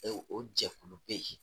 O jɛkulu bɛ yen